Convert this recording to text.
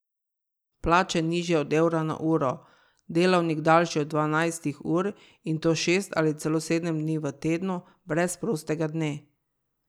Plače, nižje od evra na uro, delavnik, daljši od dvanajstih ur, in to šest ali celo sedem dni v tednu, brez prostega dne.